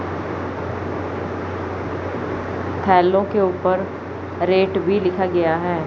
Hello के ऊपर rate भी लिखा गया है।